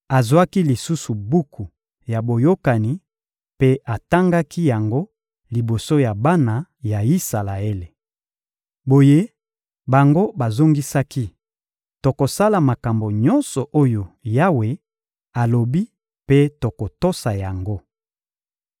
Azwaki lisusu buku ya Boyokani mpe atangaki yango liboso ya bana ya Isalaele. Boye bango bazongisaki: — Tokosala makambo nyonso oyo Yawe alobi mpe tokotosa yango.